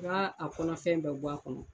a kɔnɔfɛn bɛɛ bo a kɔnɔ.